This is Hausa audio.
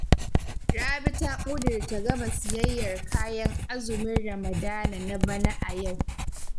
Rabi ta ƙudirce gama siyayyar kayan azumin Ramadana na bana a yau